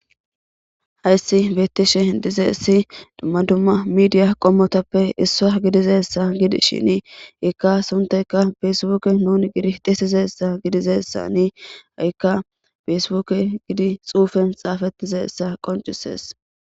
hayssi beettishe dize issi dumma dumma midiya qommotappe issoa gidizessa gidi shini ikka sunteka peesiwuke nun giritisizessa gidizessani haikka peesibuke gidi xuufen xaafetizessa qoncisees